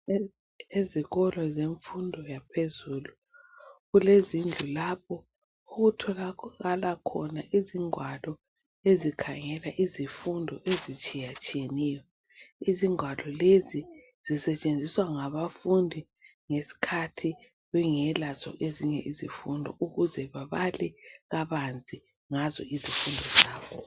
Ezikolo zemfundo yaphezulu. Kulezindlu lapho okutholakala khona izingwalo ezikhangela izifundo, ezitshiyatshiyeneyo. Izingwalo lezi sisetshenziswa ngabafundi, ngesikhathi bengelazo ezinye izifundo. Ukuze babale kabanzi, ngazo izifundo zabo.